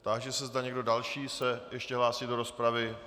Táži se, zda někdo další se ještě hlásí do rozpravy.